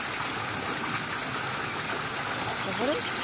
তারপরে